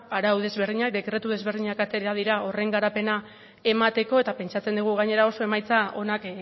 arau ezberdinak dekretu ezberdinak atera dira horren garapena emateko eta pentsatzen dugu gainera oso emaitza onak